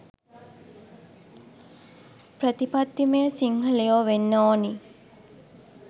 ප්‍රතිපත්තිමය සිංහලයෝ වෙන්න ඕනි